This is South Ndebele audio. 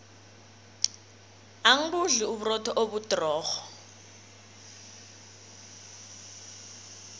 angibudli uburotho obudrorho